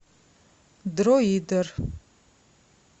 дроидер